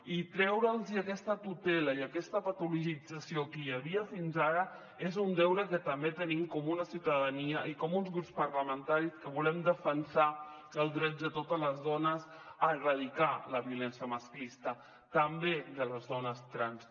i treure’ls aquesta tutela i aquesta patologització que hi havia fins ara és un deure que també tenim com a ciutadania i com a grups parlamentaris que volem defensar els drets de totes les dones a erradicar la violència masclista també de les dones trans